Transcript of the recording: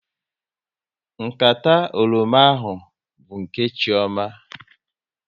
Nkata oroma ahụ bụ nke Chioma